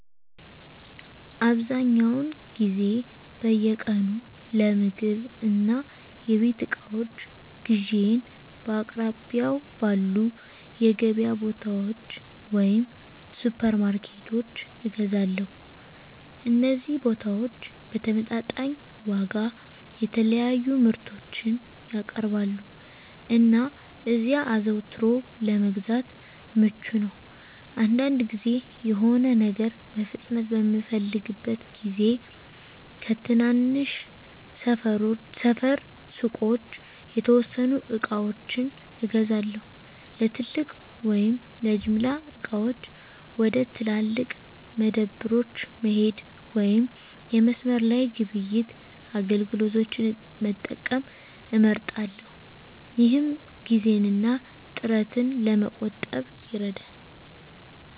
አብዛኛውን ጊዜ በየቀኑ ለምግብ እና የቤት እቃዎች ግዢዬን በአቅራቢያው ባሉ የገበያ ቦታዎች ወይም ሱፐርማርኬቶች እገዛለሁ። እነዚህ ቦታዎች በተመጣጣኝ ዋጋ የተለያዩ ምርቶችን ያቀርባሉ, እና እዚያ አዘውትሮ ለመግዛት ምቹ ነው. አንዳንድ ጊዜ፣ የሆነ ነገር በፍጥነት በምፈልግበት ጊዜ ከትናንሽ ሰፈር ሱቆች የተወሰኑ ዕቃዎችን እገዛለሁ። ለትልቅ ወይም ለጅምላ ዕቃዎች፣ ወደ ትላልቅ መደብሮች መሄድ ወይም የመስመር ላይ ግብይት አገልግሎቶችን መጠቀም እመርጣለሁ፣ ይህም ጊዜን እና ጥረትን ለመቆጠብ ይረዳል።